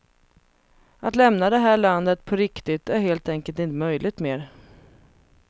Att lämna det här landet på riktigt är helt enkelt inte möjligt mer.